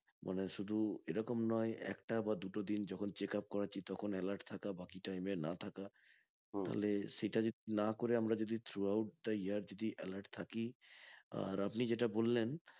মানে শুধু এরকম নয় একটা বা দুটো দিন যখন check up করাচ্ছি তখন alert থাকা বাকি time এ না থাকা তালে সেটা না করে আমরা যদি through out the year যদি alert থাকি আহ আর আপনি যেটা বললেন